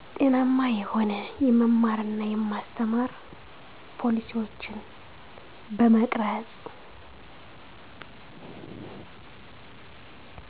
ጤናማ የሆነ የመማርና የማስተማር ፖሊሲዎችን በመቅረፅ